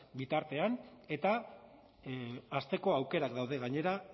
bitartean eta hazteko aukerak daude gainera